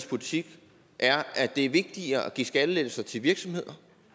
politik er at det er vigtigere at give skattelettelser til virksomheder